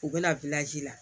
U bɛna la